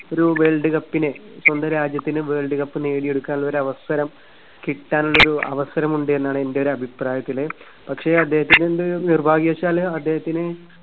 ഒരു വേൾഡ് കപ്പിനെ സ്വന്തം രാജ്യത്തിന് വേൾഡ് കപ്പ് നേടിയെടുക്കാൻ ഒരു അവസരം കിട്ടാനുള്ളൊരു അവസരം ഉണ്ട് എന്നാണ് എന്റെ ഒരു അഭിപ്രായത്തില്. പക്ഷേ അദ്ദേഹത്തിന് നിർഭാഗ്യവശാൽ അദ്ദേഹത്തിന്